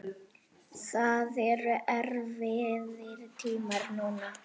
Það eru erfiðir tímar núna.